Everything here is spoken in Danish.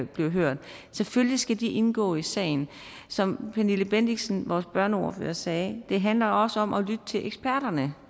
bliver hørt selvfølgelig skal de indgå i sagen som pernille bendixen vores børneordfører sagde handler det også om at lytte til eksperterne